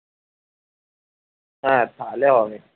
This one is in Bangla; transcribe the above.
হ্যাঁ তাহলে হবে